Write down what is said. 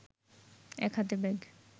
এক হাতে ব্যাগ